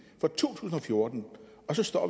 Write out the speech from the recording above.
for to tusind og fjorten og så står